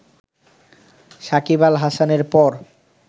সাকিব আল হাসানের পর